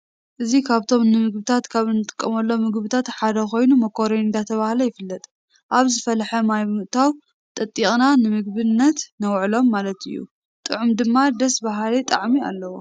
እዚ ካብቶም ንምግብነት ካብ እንጥቀመሎም ምግብታት ሓደ ኮይኑ ማኮሮኒ ዳተብሃለ ይፍለጥ::አብ ዝፈለሐ ማይ ብምእታው ጠጢቅና ንምግብነት ነውዕሎ ማለት እዩ::ጥዕሙ ድማ ደስ በሃሊ ጣዕሚ አለዎ ::